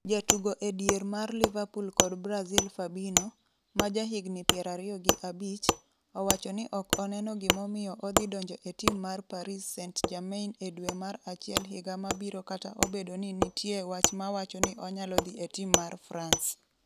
Jatugo edier mar Liverpool kod Brazil Fabinho, ma jahigni 25, owacho ni ok oneno gimomiyo odhi donjo e tim mar Paris St-Germain e dwe mar achiel higa mabiro kata obedo ni nitie wach mawacho ni onyalo dhi e tim mar France.